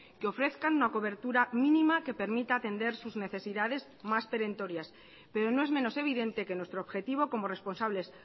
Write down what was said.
que ofrezcan una cobertura mínima que permita atender sus necesidades más perentorias pero no es menos evidente que nuestro objetivo como responsables